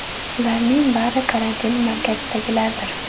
Ularning bari karantin markazidagilardir.